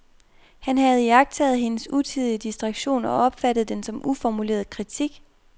Han havde iagttaget hendes utidige distraktion og opfattet den som uformuleret kritik.